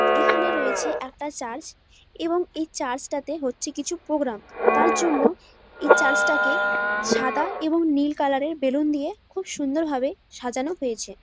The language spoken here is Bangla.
এখানে রয়েছে একটা চার্চ এবং এই চার্চ টাতে হচ্ছে কিছু প্রোগ্রাম । তার জন্য এই চার্চ টা কে সাদা এবং নীল কালার এর বেলুন দিয়ে খুব সুন্দর ভাবে সাজানো হয়েছে।